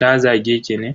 Ta zage ki ne?